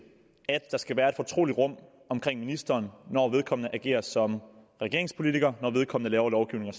at der skal være et fortroligt rum omkring ministeren når vedkommende agerer som regeringspolitiker når vedkommende laver lovgivning